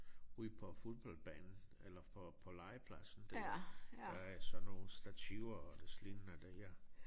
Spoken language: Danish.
Ude på fodboldbanen eller for på legepladsen der der er sådan nogle stativer og des lignende der